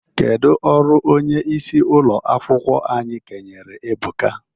Kedụ ọrụ onyeisi ụlọ akwụkwọ anyị kenyere Ebuka?